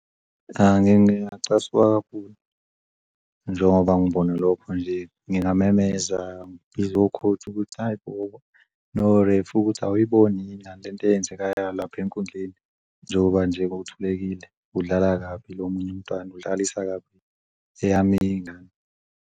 Cha, ngingacasuka kakhulu njengoba ngibona lokho nje. Ngingamemeza ngibuzo o-coach ukuthi, hhayi bo, no-ref ukuthi awuyiboni lento eyenzekalayo lapha enkundleni, njengoba nje kuthulekile udlala kabi lo omunye umntwana udlalisa kabi eyami ingane.